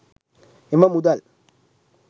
එම මුදල්